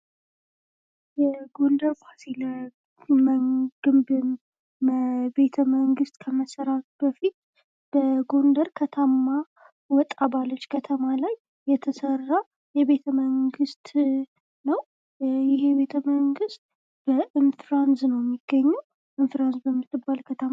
ይህ በጎንደር ከተማ ወጣ ባልች ስፍራ የተሰራ ቤተመንግሥት ሲሆን። እጅግ ያማረ እና ጥንታዊ የሆነ ስፍራ ነው።